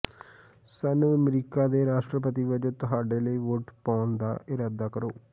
ਸਾਨੂੰ ਅਮਰੀਕਾ ਦੇ ਰਾਸ਼ਟਰਪਤੀ ਵਜੋਂ ਤੁਹਾਡੇ ਲਈ ਵੋਟ ਪਾਉਣ ਦਾ ਇਰਾਦਾ ਕਰੋ